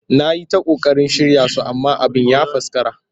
Na yi ta ƙoƙarin shirya su amma abin ya faskara